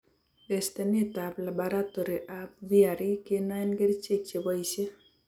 Testeneet ab labaratory ab VRE kenoen kercheek cheboisie